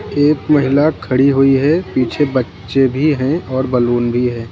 एक महिला खड़ी हुई है पीछे बच्चे भी हैं और बैलून भी है।